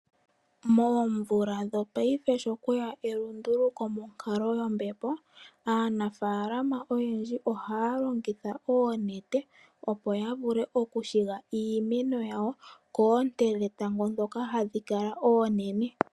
Moomvula dhopaife sho kweya elunduluko monkalo yombepo, aanafaalama oyendji ohaya longitha oonete, opo ya vule okushiga iimeno yawo koonte dhetango ndhoka hadhi kala oonene.